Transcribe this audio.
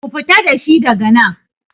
Ku fita dashi daga nan!